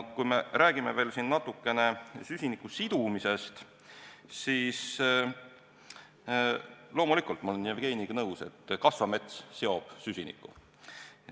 Kui me räägime veel natukene süsiniku sidumisest, siis loomulikult ma olen Jevgeniga nõus, et kasvav mets seob süsinikku.